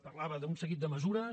parlava d’un seguit de mesures